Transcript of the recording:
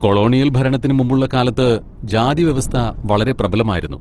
Colonial ഭരണത്തിനു മുമ്പുള്ള കാലത്ത് ജാതിവ്യവസ്ഥ വളരെ പ്രബലമായിരുന്നു.